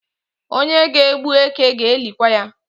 Onye ga-egbu eke ga-elikwa ya